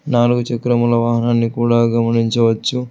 నాలుగు చక్రముల వాహనాన్ని కూడా గమనించవచ్చు.